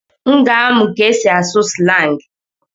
M ga-amụ ka esi asụ slangị.